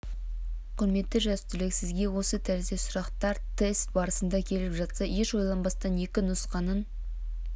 құрметті жас түлек сізге осы тәріздес сұрақтар тест барысында келіп жатса еш ойланбастан екі нұсқасын